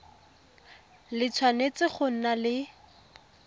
le tshwanetse go nna le